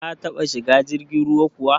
Ka taba shiga jirgin ruwa kuwa?